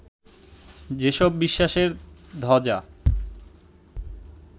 যেসব বিশ্বাসের ধ্বজা